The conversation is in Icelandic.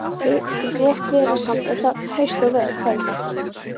Votviðrasamt var þetta haust og veður köld.